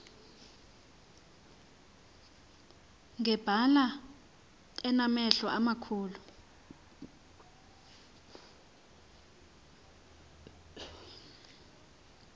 ngebala enamehlo amakhulu